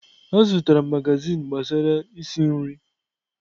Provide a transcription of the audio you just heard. Azụtara m magazin gbasara isi nri.